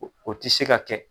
O tɛ se ka kɛ.